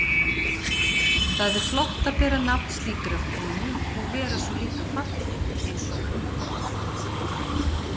Það er flott að bera nafn slíkrar konu og vera svo líka falleg einsog hún.